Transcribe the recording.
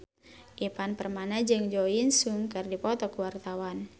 Ivan Permana jeung Jo In Sung keur dipoto ku wartawan